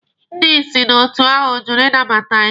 Ndị isi n'otu ahụ jụrụ ịnabata anyị.